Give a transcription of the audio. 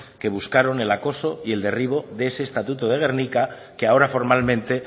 que buscaron el acoso y el derribo de ese estatuto de gernika que ahora formalmente